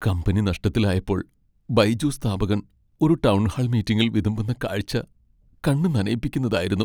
Company നഷ്ടത്തിലായപ്പോൾ ബൈജൂസ് സ്ഥാപകൻ ഒരു ടൗൺഹാൾ മീറ്റിംഗിൽ വിതുമ്പുന്ന കാഴ്ച്ച കണ്ണ് നനയിപ്പിക്കുന്നതായിരുന്നു.